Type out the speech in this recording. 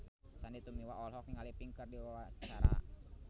Sandy Tumiwa olohok ningali Pink keur diwawancara